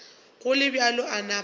go le bjalo a napa